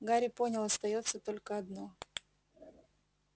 гарри понял остаётся только одно